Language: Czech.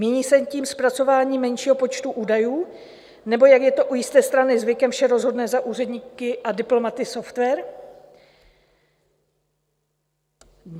Míní se tím zpracování menšího počtu údajů, nebo, jak je to u jisté strany zvykem, vše rozhodne za úředníky a diplomaty software?